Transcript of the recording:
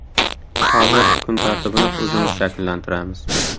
Hozir kun tartibini o‘zimiz shakllantiramiz.